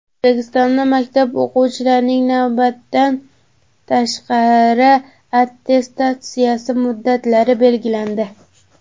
O‘zbekistonda maktab o‘qituvchilarining navbatdan tashqari attestatsiyasi muddatlari belgilandi.